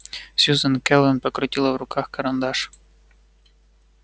сьюзен кэлвин покрутила в руках карандаш